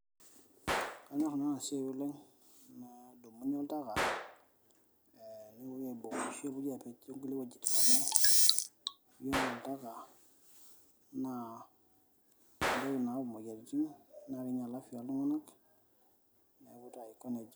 Ee kanyior nanu enasiai oleng nadumuni oltaka, nepuoi iabung ashu nepuoi apej tongulie wuejitin ,iyiolo oltaka naa entoki nayau moyiaritin te afya oltunganak neaku taa aiko nejia.